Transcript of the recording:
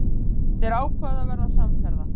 Þeir ákváðu að verða samferða.